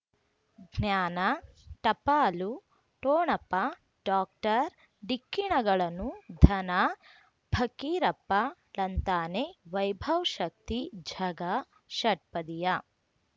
ಜ್ಞಾನ ಟಪಾಲು ಠೋಣಪ ಡಾಕ್ಟರ್ ಢಿಕ್ಕಿ ಣಗಳನು ಧನ ಫಕೀರಪ್ಪ ಳಂತಾನೆ ವೈಭವ್ ಶಕ್ತಿ ಝಗಾ ಷಟ್ಪದಿಯ